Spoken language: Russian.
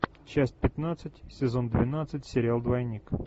часть пятнадцать сезон двенадцать сериал двойник